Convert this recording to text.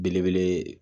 Belebele